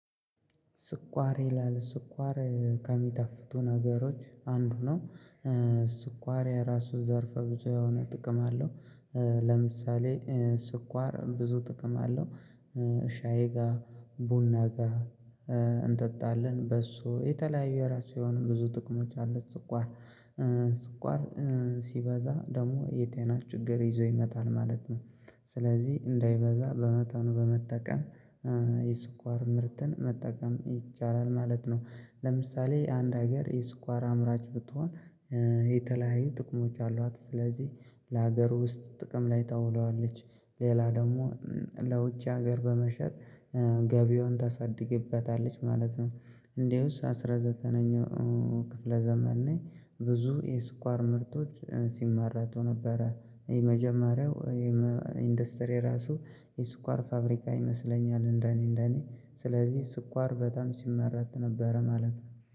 ስኳር ይላል ስኳር ከሚጣፍቱ ነገሮች አንዱ ነው። ስኳር የራሱ ዘርፈ ብዙ የሆነ ጥቅም አለው። ለምሳሌ ስኳር ብዙ ጥቅም አለው ሻዬ ጋ ቡና ጋ እንጠጣለን በሶ የተለያዩ የራሱ የሆኑን ብዙ ጥቅሞች አሉት ስኳር ስኳር ሲበዛ ደግሞ የቴና ችግር ይዞ ይመጣል ማለት ነው። ስለዚህ እንዳይበዛ በመጠኑ በመጠቀም የስኳር ምርትን መጠቀም ይቻላል ማለት ነው። ለምሳሌ አንድ ሀገር የስኳር አምራች ብትሆን የተለያዩ ጥቅሞች አሏት ስለዚህ ለሀገር ውስጥ ጥቅም ላይ ታውለዋለች። ሌላ ደግሞ ለውጭ ሀገር በመሸጥ ገቢውን ታሳድግበታለች ማለት ነው። እንዴውስ አስራ ዘጠነኛው ክፍለ ዘመን ላይ ብዙ የስኳር ምርቶች ሲመረቱ ነበረ የመጀመሪያው ኢንዱስትሪ ራሱ የስኳር ፋብሪካ ይመስለኛል እንደኔ እንደኔ ስለዚህ ስኳር በጣም ሲመረት ነበረ ማለት ነው።